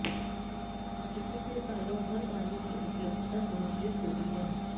इससे सालों भर पानी की उपलब्धता सुनिश्चित होती है